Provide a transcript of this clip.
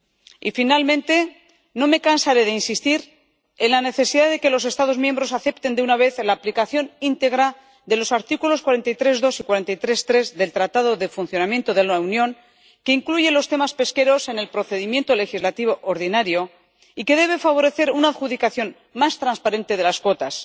Y, finalmente, no me cansaré de insistir en la necesidad de que los Estados miembros acepten de una vez la aplicación íntegra del artículo 43, apartado 2, y el artículo 43, apartado 3, del Tratado de Funcionamiento de la Unión, que incluye los temas pesqueros en el procedimiento legislativo ordinario y que debe favorecer una adjudicación más transparente de las cuotas.